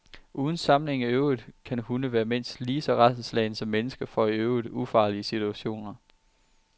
Uden sammenligning i øvrigt kan hunde være mindst lige så rædselsslagne som mennesker for i øvrigt ufarlige situationer.